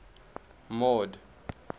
mord